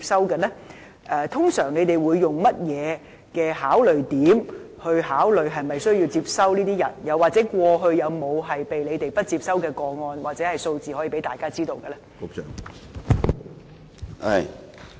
特區政府通常會以甚麼因素考慮是否需要接收這些人，又或過去有沒有不獲當局接收的個案或數字供大家參考？